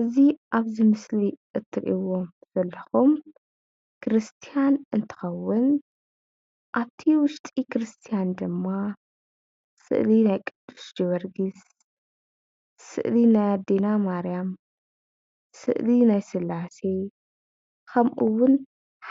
እዚ ኣብዚ ምስሊ እትርእይዎ ዘለኩም ቤተ ክርስትያን እንትከውን ኣብቲ ውሽጢ ቤተ ክርስትያን ደማ ሰእሊ ናይ ቑዱስ ጀወርግስ፣ ሰእሊ ናይ ኣዴና ማርያም፣ ሰእሊ ናይ ስላሴ ከምእወን